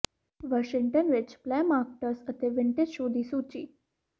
Washington ਵਿਚ flea markets ਅਤੇ vintage show ਦੀ ਸੂਚੀ